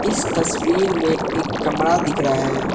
इस तस्वीर में एक कमरा दिख रहा है।